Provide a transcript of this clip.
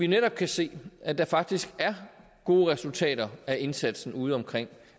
netop se at der faktisk er gode resultater af indsatsen udeomkring